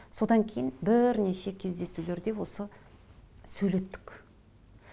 содан кейін бірнеше кездесулерде осы сөйлеттік